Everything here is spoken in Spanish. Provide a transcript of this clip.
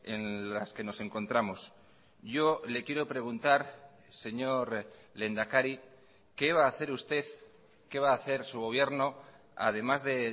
en las que nos encontramos yo le quiero preguntar señor lehendakari qué va a hacer usted qué va a hacer su gobierno además de